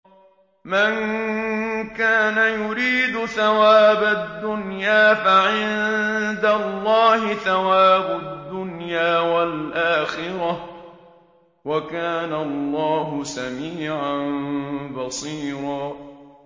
مَّن كَانَ يُرِيدُ ثَوَابَ الدُّنْيَا فَعِندَ اللَّهِ ثَوَابُ الدُّنْيَا وَالْآخِرَةِ ۚ وَكَانَ اللَّهُ سَمِيعًا بَصِيرًا